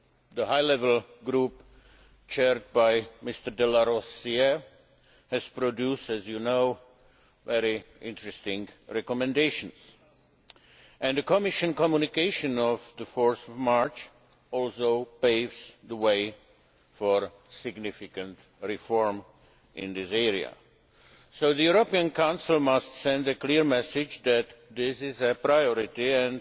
The High Level Group, chaired by Mr de Larosière, has produced, as you know, very interesting recommendations, and the Commission's communication of 4 March also paves the way for significant reform in this area. So the European Council must send a clear message that this is a priority